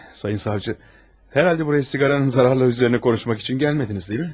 Sayın savcı, hərhalde burayı siqaranın zararları üzərində konuşmaq üçün gəlmədiniz, deyilmi?